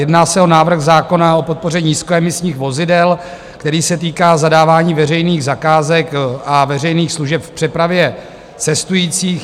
Jedná se o návrh zákona o podpoře nízkoemisních vozidel, který se týká zadávání veřejných zakázek a veřejných služeb v přepravě cestujících.